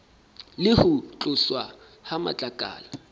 le ho tloswa ha matlakala